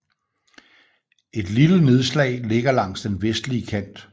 Et lille nedslag ligger langs den vestlige kant